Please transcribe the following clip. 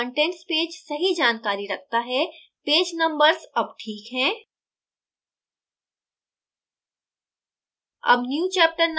देखें कि अब contents पेज सही जानकारी रखता है पेज numbers अब ठीक हैं